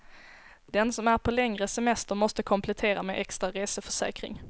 Den som är på längre semester måste komplettera med extra reseförsäkring.